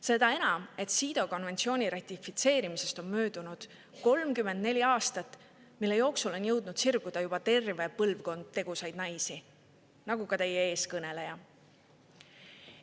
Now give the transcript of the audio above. Seda enam, et CEDAW konventsiooni ratifitseerimisest on möödunud 34 aastat, mille jooksul on jõudnud sirguda juba terve põlvkond tegusaid naisi, nagu ka teie ees kõneleja.